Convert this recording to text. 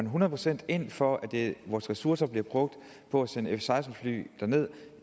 hundrede procent ind for at vores ressourcer bliver brugt på at sende f seksten fly derned